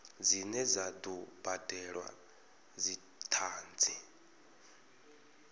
dzine dza do badelwa dzithanzi